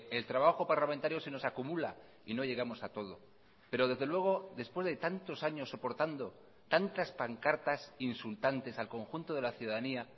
el trabajo parlamentario se nos acumula y no llegamos a todo pero desde luego después de tantos años soportando tantas pancartas insultantes al conjunto de la ciudadanía